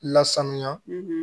Lasanuya